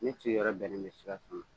Ne sigiyɔrɔ bɛnnen bɛ Sikasso ma.